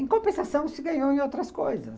Em compensação, se ganhou em outras coisas.